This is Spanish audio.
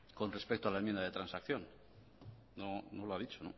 con respecto a la enmienda de transacción no lo ha dicho